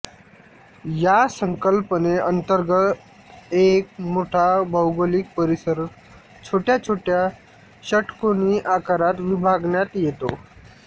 या संकल्पने अंतर्गत एक मोठा भौगोलिक परिसर छोट्या छोट्या षटकोनी आकारात विभागण्यात येतो